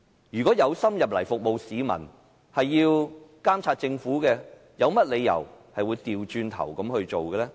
有心進入議會服務市民的議員，是想監察政府，有甚麼理由反過來做呢？